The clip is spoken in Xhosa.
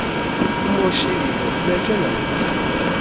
umoshile ubethwe nangubani